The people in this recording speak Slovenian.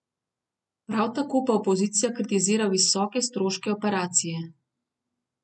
Prav tako pa opozicija kritizira visoke stroške operacije.